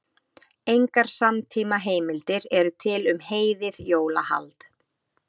Engar samtímaheimildir eru til um heiðið jólahald.